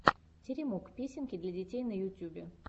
теремок песенки для детей на ютюбе